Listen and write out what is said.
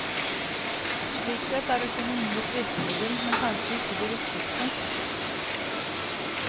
Slik sett er økonomi et virkemiddel, men kanskje ikke det viktigste.